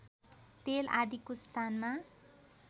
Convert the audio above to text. तेल आदिको स्थानमा